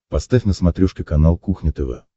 поставь на смотрешке канал кухня тв